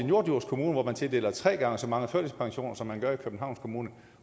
norddjurs kommune hvor man tildeler tre gange så mange førtidspensioner som man gør i københavns kommune